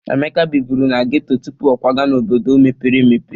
Emeka biburu na ghetto tupu o kwaga n'obodo mepere emepe.